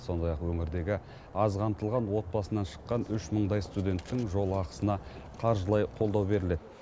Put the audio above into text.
сондай ақ өңірдегі аз қамтылған отбасынан шыққан үш мыңдай студенттің жол ақысына қаржылай қолдау беріледі